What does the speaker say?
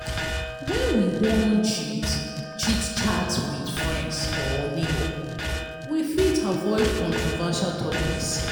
when we wan chit chit chat with friends or neighbour we fit avoid controversial topics